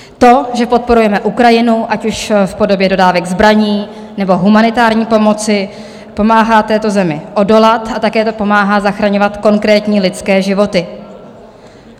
To, že podporujeme Ukrajinu, ať už v podobě dodávek zbraní, nebo humanitární pomoci, pomáhá této zemi odolat a také to pomáhá zachraňovat konkrétní lidské životy.